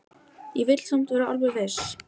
Ég vil samt vera alveg viss.